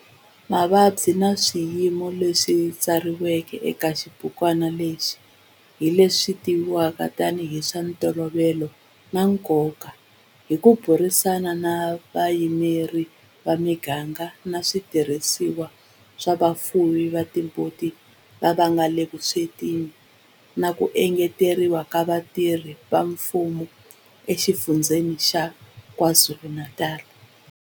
Mavabyi na swiyimo leswi katsiwaka eka xibukwana lexi hi leswi tivivwaka tanihi hi swa ntolovelo na nkoka hi ku burisana na vayimeri va miganga na switirhisiwa swa vafuwi va timbuti lava nga le vuswetini na ku engeteriwa ka vatirhi va mfumo eXifundzheni xa KwaZulu-Natal.